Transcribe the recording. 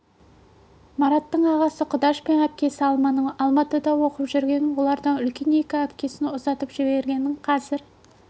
мараттың ағасы құдаш пен әпкесі алманың алматыда оқып жүргенін олардан үлкен екі әпкесін ұзатып жібергенін қазір